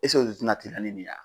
o tɛna teliya ni nin ye ya.